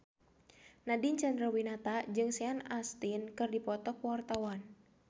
Nadine Chandrawinata jeung Sean Astin keur dipoto ku wartawan